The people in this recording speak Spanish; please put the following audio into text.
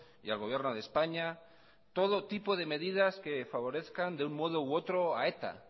y al gobierno de españa todo tipo de medidas que favorezcan de un modo u otro a eta